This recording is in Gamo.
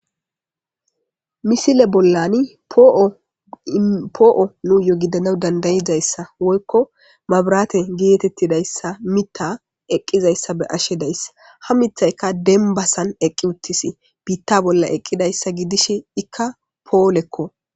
Misile bollani poo'o nuuyo gidana dandayiza issa woykko mabrate geettetida issa mita eqqiza issa be'ashe days. Ha mithayka dembasan eqqi uttisi. Biitta bolla eqqida issa gidishe ikka poolekko.